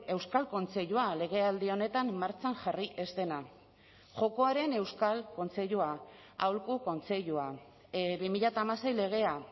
euskal kontseilua legealdi honetan martxan jarri ez dena jokoaren euskal kontseilua aholku kontseilua bi mila hamasei legea